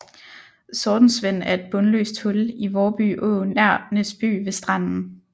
Sortensvend er et bundløst hul i Vårby Å nær Næsby ved Stranden